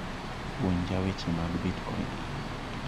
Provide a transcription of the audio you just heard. Puonja weche mag bitcoin